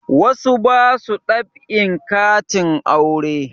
Wasu ba su dab'in katin aure